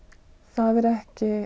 það er ekki